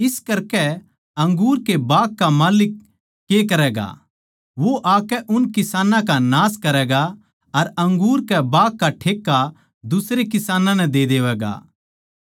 इस करकै अंगूर के बाग का माल्लिक के करैगा वो आकै उन किसानां का नाश करैगा अर अंगूर के बाग का ठेक्का दुसरे किसानां नै दे देवैगा